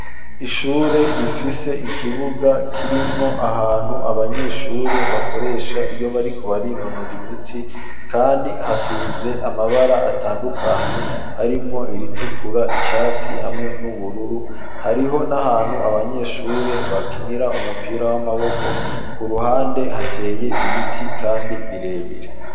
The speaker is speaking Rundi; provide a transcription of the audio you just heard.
Ishure, rifise ikibuga, kirimwo ahantu, abanyeshure bakoresha, iyo bariko barinonora imitsi, kandi hasize amabara atandukanye; harimwo iritukura, icatsi, hamwe n'ubururu; hariho n'ahantu, abanyeshure bakinira, umupira w'amaboko; ku ruhande, hateye ibiti, kandi birebire.